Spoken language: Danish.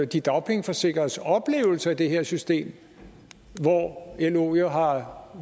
de dagpengeforsikredes oplevelse af det her system hvor lo jo har